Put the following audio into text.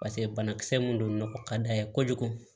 Paseke banakisɛ mun don nɔgɔ ka d'a ye kojugu